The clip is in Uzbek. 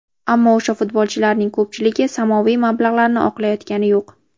Ammo o‘sha futbolchilarning ko‘pchiligi samoviy mablag‘larni oqlayotgani yo‘q.